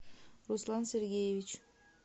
руслан сергеевич